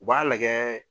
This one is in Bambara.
U b'a lajɛ